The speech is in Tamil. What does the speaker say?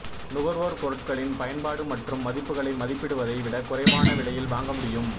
நுகர்வோர் பொருட்களின் பயன்பாடு மற்றும் மதிப்புகளை மதிப்பிடுவதை விட குறைவான விலையில் வாங்க முடியும்